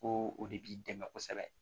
Ko o de b'i dɛmɛ kosɛbɛ